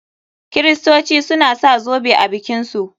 Kiristoci suna sa zoɓe a bikin su.